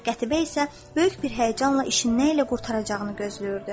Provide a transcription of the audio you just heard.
Qətibə isə böyük bir həyəcanla işin nə ilə qurtaracağını gözləyirdi.